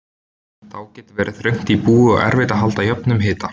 Þá getur verið þröngt í búi og erfitt að halda jöfnum hita.